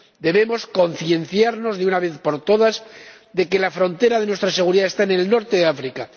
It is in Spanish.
Debemos concienciarnos, de una vez por todas, de que la frontera de nuestra seguridad está en el norte de África.